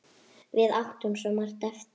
Við áttum svo margt eftir.